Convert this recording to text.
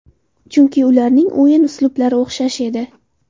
Chunki ularning o‘yin uslublari o‘xshash edi.